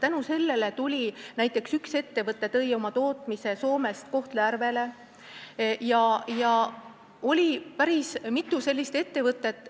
Tänu sellele tõi näiteks üks ettevõte oma tootmise Soomest Kohtla-Järvele ja oli päris mitu laienenud ettevõtet.